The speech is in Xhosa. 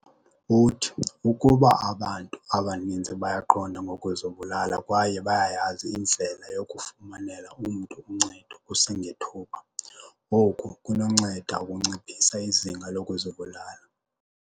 "Uthi, "Ukuba abantu abaninzi bayaqonda ngokuzibulala kwaye bayayazi indlela yokufumanela umntu uncedo kusengethuba, oku kunonceda ukunciphisa izinga lokuzibulala,"